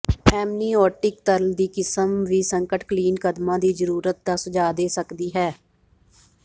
amniotic ਤਰਲ ਦੀ ਕਿਸਮ ਵੀ ਸੰਕਟਕਾਲੀਨ ਕਦਮਾਂ ਦੀ ਜ਼ਰੂਰਤ ਦਾ ਸੁਝਾਅ ਦੇ ਸਕਦੀ ਹੈ